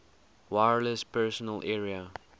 wireless personal area